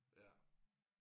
Ja